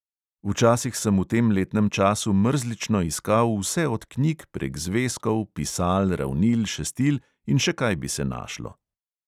Včasih sem v tem letnem času mrzlično iskal vse od knjig prek zvezkov, pisal, ravnil, šestil in še kaj bi se našlo.